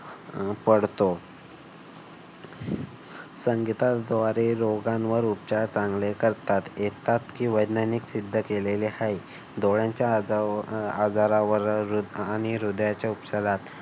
अह पडतो संगीता द्वारे रोगांवर उपचार चांगले करतात येतात की वैज्ञानिक सिद्ध केलेले आहे. डोळ्याच्या आजारावर आणि हृदयाच्या उपचारात